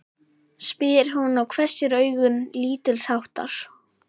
spyr hún og hvessir augun lítilsháttar.